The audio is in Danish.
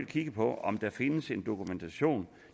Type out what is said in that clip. kigge på om der findes dokumentation